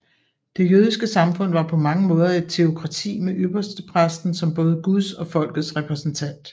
Det jødiske samfund var på mange måder et teokrati med ypperstepræsten som både Guds og folkets repræsentant